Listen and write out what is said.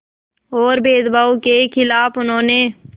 और भेदभाव के ख़िलाफ़ उन्होंने